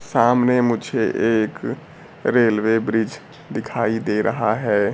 सामने मुझे एक रेलवे ब्रिज दिखाई दे रहा हैं।